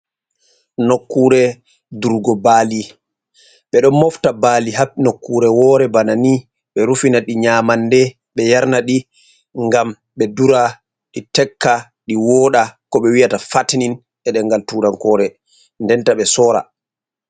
Nokkure durgo baali. Be ɗo mofta bali ha nokkure wore bana ni. Be rufina ɗi nyamanɗe be yernaɗi ngam ɓe ɗura ɗi tekka, ɗi wooɗa. Ko ɓe wi'ata fatinin e ɗengal turankore. Ɗenta ɓe sora.